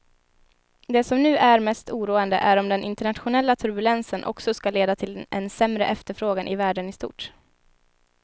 Det som nu är mest oroande är om den internationella turbulensen också ska leda till en sämre efterfrågan i världen i stort.